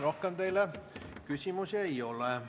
Rohkem teile küsimusi ei ole.